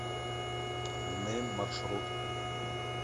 нэйм маршрут